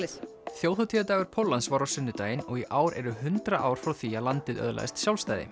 þjóðhátíðardagur Póllands var á sunnudaginn og í ár eru hundrað ár frá því að landið öðlaðist sjálfstæði